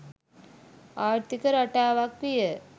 ආර්ථික රටාවක් විය